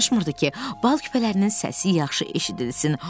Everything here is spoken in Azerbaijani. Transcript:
Danışmırdı ki, bal küpələrinin səsi yaxşı eşidilsin.